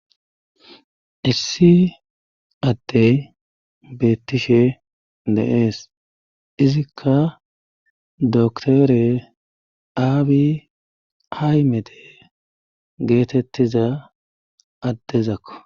issi addey beettishe deees izikka doktore aabi haymete geetettiza addezakko